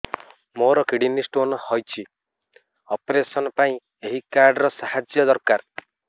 ମୋର kidney stone ହଇଛି operation ପାଇଁ ଏହି କାର୍ଡ ର ସାହାଯ୍ୟ ଦରକାର